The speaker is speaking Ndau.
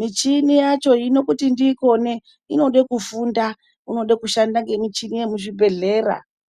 Michini yacho hino kuti ndiikone, inode kufunda unode kushanda ngemichini yemuzvibhedhlera.